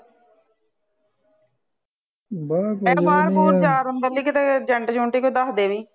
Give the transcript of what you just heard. ਮੈ ਕਿਹਾ ਬਾਹਰ ਬੂਰ ਜਾਣ ਅੰਦਰਲੀ ਲਈ ਕੀਤੇ ਜੰਟ ਜੁੰਟ ਕੋਈ ਦੱਸਦੇ ਵੀ